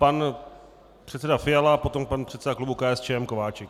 Pan předseda Fiala, potom pan předseda klubu KSČM Kováčik.